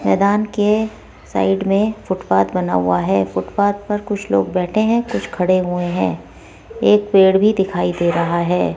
मैदान के साइड में फुटपाथ बना हुआ है फुटपाथ पर कुछ लोग बैठे हैं कुछ खड़े हुए हैं एक पेड़ भी दिखाई दे रहा है।